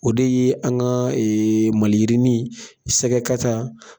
O de ye an ka maliyirinin sɛgɛkata.